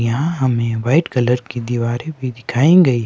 यहां हमें white colour की दीवारें भी दिखाई गई--